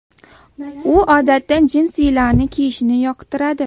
U odatda jinsilarni kiyishni yoqtiradi.